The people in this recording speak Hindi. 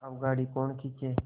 अब गाड़ी कौन खींचे